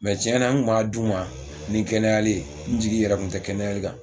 Mɛ tiɲɛna n kun m'a d'u ma ni kɛnɛyali n jigi yɛrɛ kun tɛ kɛnɛyali kan